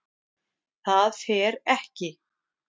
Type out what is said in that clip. ÞAÐ FER EKKI